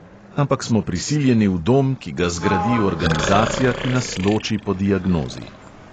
Ampak smo prisiljeni v dom, ki ga zgradi organizacija, ki nas loči po diagnozi.